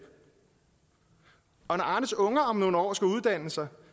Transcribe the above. og når arnes unger om nogle år skal uddanne sig